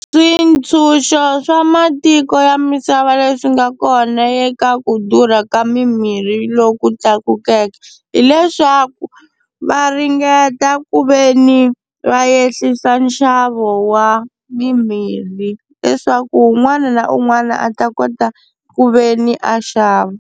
Swintshuxo swa matiko ya misava leswi nga kona eka ku durha ka mimirhi loku tlakukeke, hileswaku va ringeta ku veni va ehlisa nxavo wa mimirhi leswaku un'wana na un'wana a ta kota ku veni a xava.